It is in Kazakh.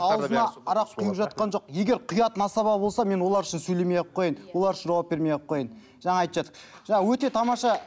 ауызына арақ құйып жатқан жоқ егер құятын асаба болса мен олар үшін сөйлемей ақ қояйын олар үшін жауап бермей ақ қояйын жаңа айтып жатыр жаңа өте тамаша